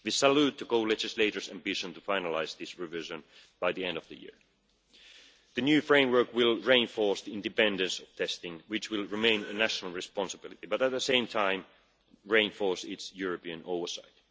We salute the co legislators' ambition to finalise this revision by the end of the year. The new framework will reinforce the independence of testing, which will remain a national responsibility, but at the same time reinforce its European oversight.